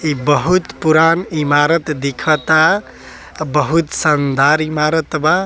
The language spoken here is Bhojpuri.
इ बहुत पुरान इमारत दिखता अ बहुत शानदार इमारत बा।